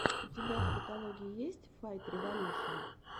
у тебя в каталоге есть файтреволюшн